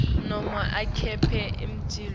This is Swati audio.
noma akhiphe imiculu